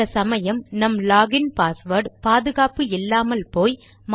சில சமயம் நம் லாக் இன் பாஸ்வேர்ட் பாதுகாப்பு இல்லாமல் போய்